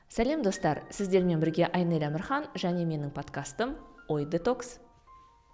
сәлем достар сіздермен бірге айнель әмірхан және менің подкастым ой детокс